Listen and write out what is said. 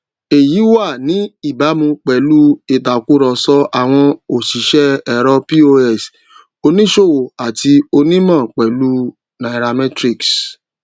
èyí wà ní ìbámu pèlú ìtakùrọsọ àwọn òṣìṣẹ ẹrọ pos oníṣòwò àti onímọ pẹlú u nairametrics